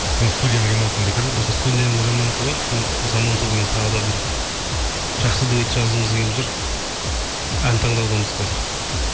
студияның ремонтын бітіру студяның ремонты бар сосын заман тобымен тағы да бір жақсы дуэт жазғымыз келіп жүр ән таңдаудамыз қазір